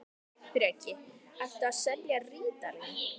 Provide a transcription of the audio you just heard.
Breki: Ertu að selja rítalín?